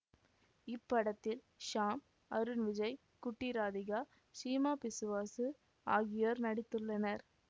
இப்படத்தில் ஷாம் அருண் விஜய் குட்டி இராதிகா சீமா பிசுவாசு ஆகியோர் நடித்துள்ளனர்